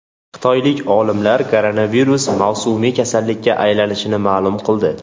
Xitoylik olimlar koronavirus mavsumiy kasallikka aylanishini ma’lum qildi.